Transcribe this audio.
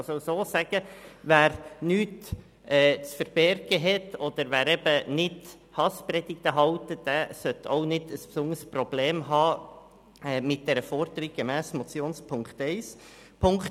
Man kann es auch so sagen: Wer nichts zu verbergen hat, oder wer eben nicht Hasspredigten hält, der sollte auch kein besonderes Problem mit der Forderung gemäss der Motionsziffer 1 haben.